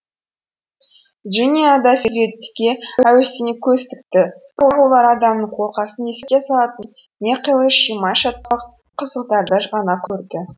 джиния да суретке әуестене көз тікті бірақ олар адамның қолқасын еске салатын не қилы шимай шатпақ сызықтарды ғана көрді